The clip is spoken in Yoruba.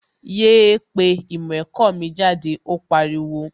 Yéé pé ìmọ̀ ẹ̀kọ́ mi jáde, ó pariwo!